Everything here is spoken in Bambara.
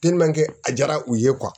a jara u ye